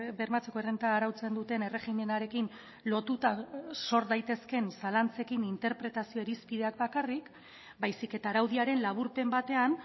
bermatzeko errenta arautzen duten erregimenarekin lotuta sor daitezkeen zalantzekin interpretazio irizpideak bakarrik baizik eta araudiaren laburpen batean